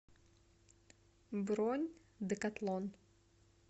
бронь декатлон